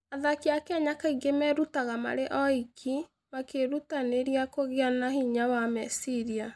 Athaki a Kenya kaingĩ merutaga marĩ oiki, makĩĩrutanĩria kũgĩa na hinya wa meciria.